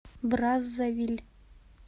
браззавиль